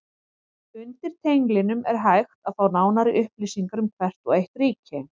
Undir tenglinum er hægt að fá nánari upplýsingar um hvert og eitt ríki.